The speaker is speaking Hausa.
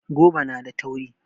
Goba na da tauri